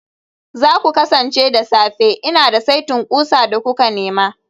za ku kasance da safe, Ina da saitin ƙusa da kuka nema